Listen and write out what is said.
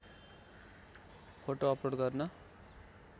photo upload गर्न